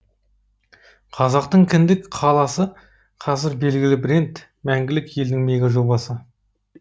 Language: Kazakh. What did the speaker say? қазақтың кіндік қаласы қазір белгілі бренд мәңгілік елдің мегажобасы